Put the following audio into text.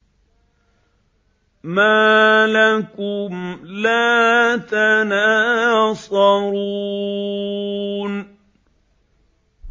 مَا لَكُمْ لَا تَنَاصَرُونَ